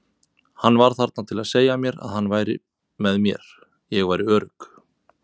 Hann var þarna til að segja mér að hann væri með mér, ég væri örugg.